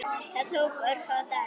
Þetta tók örfáa daga.